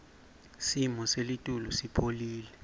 simo selitulu sipholile